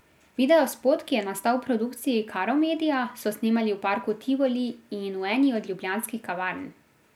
Videospot, ki je nastal v produkciji Karo media, so snemali v parku Tivoli in v eni od ljubljanskih kavarn.